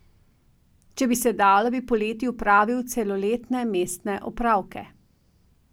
Če bi se dalo, bi poleti opravil celoletne mestne opravke.